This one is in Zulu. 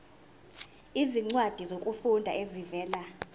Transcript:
izincwadi zokufunda ezivela